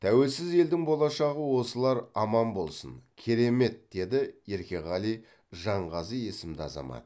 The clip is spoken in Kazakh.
тәуелсіз елдің болашағы осылар аман болсын керемет деді еркеғали жанғазы есімді азамат